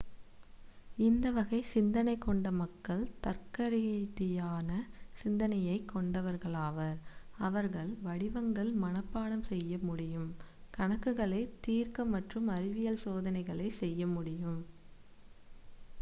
இந்த வகை சிந்தனை கொண்ட மக்கள் தர்க்கரீதியான சிந்தனையைக் கொண்டவர்களாவர் அவர்களால் வடிவங்கள் மனப்பாடம் செய்ய முடியும் கணக்குகளைத் தீர்க்க மற்றும் அறிவியல் சோதனைகளைச் செய்யமுடியும்